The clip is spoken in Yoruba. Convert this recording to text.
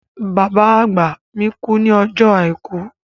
Bàbá àgbà mi kú ní ọjọ́ Àìkú.